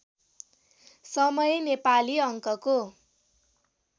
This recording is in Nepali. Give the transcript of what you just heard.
समय नेपाली अङ्कको